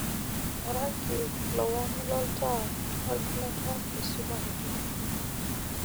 orangi lowang' loltaa lolgilata oisumareki